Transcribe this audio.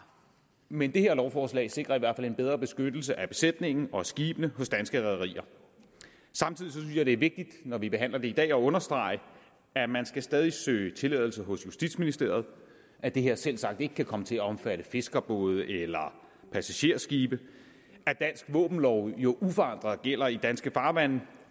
men det her lovforslag sikrer i hvert fald en bedre beskyttelse af besætningen og af skibene hos danske rederier samtidig synes jeg at det når vi behandler det i dag er understrege at man stadig skal søge tilladelse hos justitsministeriet at det her selvsagt ikke kan komme til at omfatte fiskerbåde eller passagerskibe at dansk våbenlov jo uforandret gælder i danske farvande